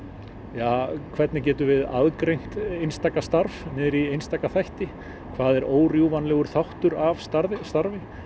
ja hvernig getum við aðgreint einstaka starf niður í einstaka þætti hvað er órjúfanlegur þáttur af starfi starfi